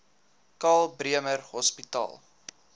karl bremer hospitaal